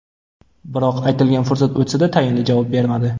Biroq aytilgan fursat o‘tsa-da, tayinli javob bermadi.